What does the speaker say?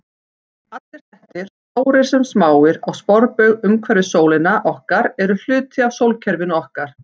Allir hnettir, stórir sem smáir, á sporbaug umhverfis sólina okkar eru hluti af sólkerfinu okkar.